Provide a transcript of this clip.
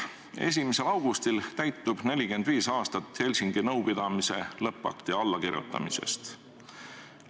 1. augustil möödub 45 aastat Helsingi nõupidamise lõppakti allakirjutamisest.